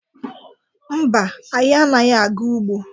Mba, anyị anaghị aga ugbo.